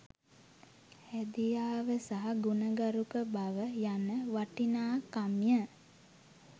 හැදියාව සහ ගුණගරුක බව යන වටිනාකම්ය